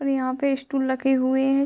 और यहाँ पे स्टूल रखे हुए है।